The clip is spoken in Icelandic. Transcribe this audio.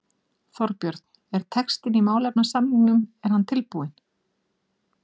Þorbjörn: Er textinn í málefnasamningnum er hann tilbúinn?